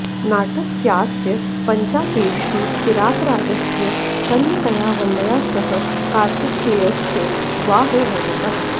नाटकस्यास्य पञ्चाङ्केषु किरातराजस्य कन्यकया वल्ल्या सह कार्तिकेयस्योद्वाहो वर्णितः